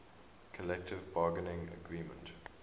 collective bargaining agreement